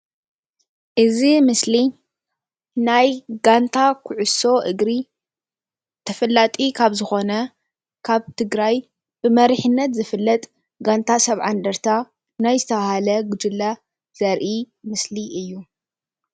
እዚ ምስሊ ናይ ጋንታ ኩዕሶ እግሪ ተፈላጢ ካብ ዝኮነ ካብ ትግራይ ብመሪሕነት ዝፍለጥ ጋንታ 70 እንደርታ ናይ ዝተባሃለ ጉጅለ ዘርኢ ምስሊ እዩ፡፡